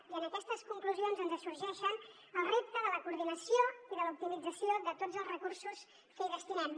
i en aquestes conclusions ens sorgeix el repte de la coordinació i de l’optimització de tots els recursos que hi destinem